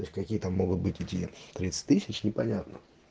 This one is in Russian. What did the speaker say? то есть какие там могут быть эти тридцать тысяч непонятно